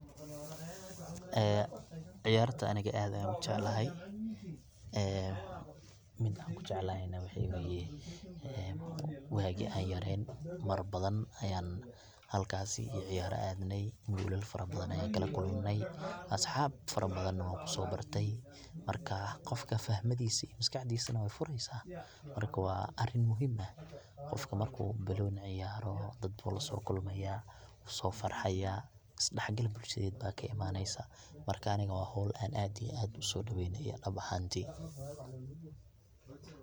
Ee ciyarta aniga ad ayan ujeclahay, ee midan kujeclahay na waxaa weye ee wagin an yareen mar badan ayan halkaasi iyo ciyaara adnay ,gulal badan ayan kala kulanay, asxab far badan na wankuso bartay markaa qofka fahmaadisu iyo maskaxdiisu na way fureysa marka waa arin muhim ah qofka marku balooni ciyaaro dad bu lasookulmaya, wuu soo farxaya ,isdhaxgal bulshadeed ba ka imanaysa marka aniga waa howl an aad iyo aad uso dhaweynayo dabcaan dee.